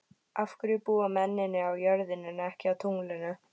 Af hverju búa mennirnir á jörðinni en ekki á tunglinu?